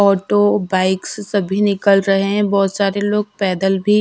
auto bikes सभी निकल रहे हैं बहोत सारे लोग पैदल भी--